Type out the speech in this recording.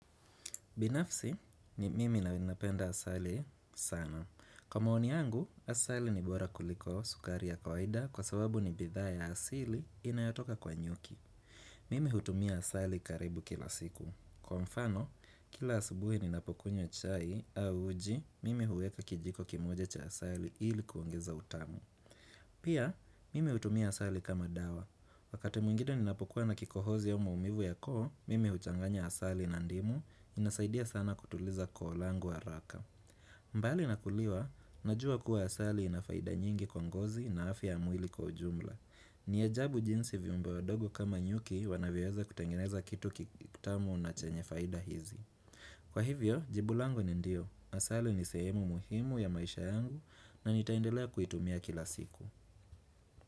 Binafsi ni mimi ninapenda asali sana. Kwa maoni yangu, asali ni bora kuliko sukari ya kwaida, kwa sababu ni bidhaa ya asili inayotoka kwa nyuki. Mimi hutumia asali karibu kila siku. Kwa mfano, kila asubuhi ninapokunywa chai au uji, mimi huweka kijiko kimoja cha asali ili kuongeza utamu. Pia, mimi hutumia asali kama dawa. Wakati mwingine ninapokuwa na kikohozi au maumivu ya koo, mimi huchanganya asali na ndimu, inasaidia sana kutuliza koo langu haraka. Bali na kuliwa, najua kuwa asali ina faida nyingi kwa ngozi na afya ya mwili kwa ujumla. Ni ajabu jinsi viumbe wadogo kama nyuki wanavyoweza kutengeneza kitu kitamu na chenye faida hizi. Kwa hivyo, jibu langu ni ndio. Asali ni sehemu muhimu ya maisha yangu na nitaendelea kuitumia kila siku.